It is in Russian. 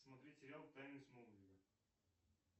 смотреть сериал тайны с